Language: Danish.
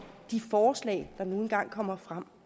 de forslag der nu engang kommer frem